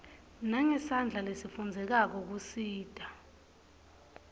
nangesandla lesifundzekako kusita